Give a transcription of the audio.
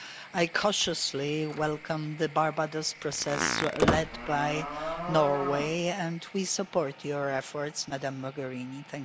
I cautiously welcome the Barbados process led by Norway, and we support your efforts, Ms Mogherini.